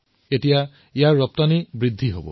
এতিয়া ইয়াৰ ৰপ্তানি বৃদ্ধি হব